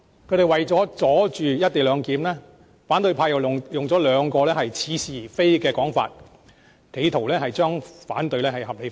他們為了阻止"一地兩檢"議案通過，反對派用了兩個似是而非的說法，企圖要將反對合理化。